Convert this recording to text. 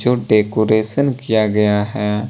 जो डेकोरेशन किया गया है।